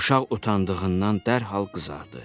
Uşaq utandığından dərhal qızardı.